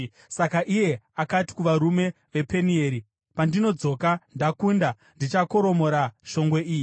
Saka iye akati kuvarume vePenieri, “Pandinodzoka ndakunda, ndichakoromora shongwe iyi.”